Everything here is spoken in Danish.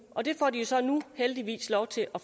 og det får de så nu heldigvis lov til at